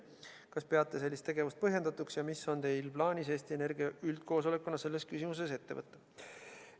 Kas peate sellist tegevust põhjendatuks ning mis on teie plaanid Eesti Energia üldkoosolekuna selles küsimuses?